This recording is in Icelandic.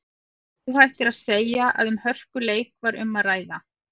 Óhætt er að segja að um hörkuleik var um að ræða.